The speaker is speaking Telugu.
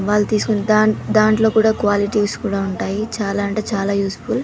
వాళ్ళు తీసుకునే దాంట్లో కూడా క్వాలిటీస్ కూడా ఉంటాయి చాలా అంటే చాలా యూస్ఫుల్ .